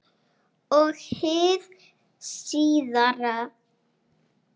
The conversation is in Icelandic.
Og hið síðara